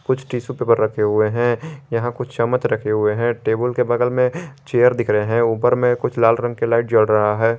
कुछ tissue paper रखे हुए है यहा कुछ चमच रखे हुए है टेबुल के बगल मे चेयर दिख रहे है ऊपर मे कुछ लाल रंग के लाईट जल रहा है।